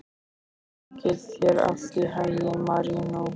Gangi þér allt í haginn, Marínó.